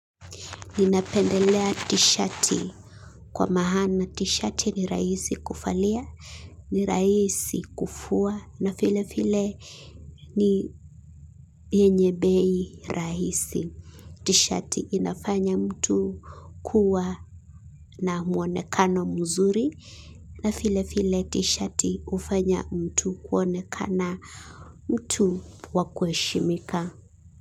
Ninapendelea tishati kwa maana tishati ni rahisi kuvalia, ni rahisi kufua na vile vile ni yenye bei rahisi. Tishati inafanya mtu kuwa na muonekano mzuri na vile vile tishati hufanya mtu kuonekana mtu wa kuheshimika.